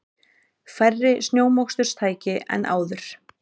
Færri snjómoksturstæki en áður